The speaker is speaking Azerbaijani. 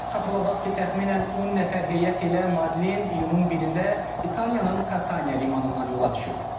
Xatırladaq ki, təxminən 10 nəfər heyət ilə Madlin iyunun 1-də İtaliyanın Kataniya limanından yola düşüb.